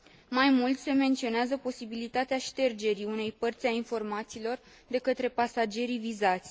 Mai mult, se menționează posibilitatea ștergerii unei părți a informațiilor de către pasagerii vizați.